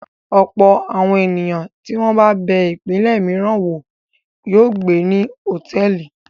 Ọ̀pọ̀ àwọn ènìyàn tí wọ́n bá bẹ ìpínlẹ̀ mìíràn wò yóò gbé ní hòtẹ́ẹ́lì.